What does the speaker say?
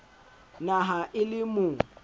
na ha e le mo